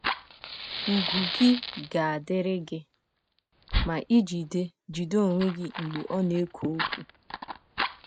Ùgwù gị ga - adịrị gị ma i jide jide onwe gị mgbe ọ na - ekwu okwu.